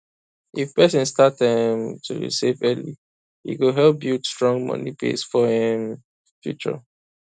if person start um to dey save early e go help build strong money base for um future